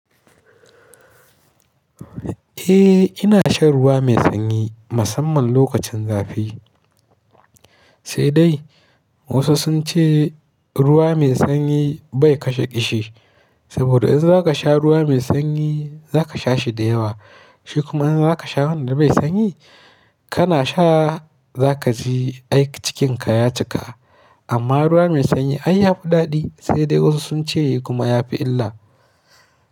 Eh ina shan ruwa mai sanyi musamman lokacin zafi, sai dai wasu sunce ruwa mai sanyi bai kashe ƙishi saboda in zaka sha ruwa mai sanyi zaka sha shi da yawa shi kuma in zaka sha wanda bai sanyi kana sha zaka ji ai cikinka ya cika amma ruwa mai sanyi ai yafi daɗi sai dai wasu sunce kuma yafi illa.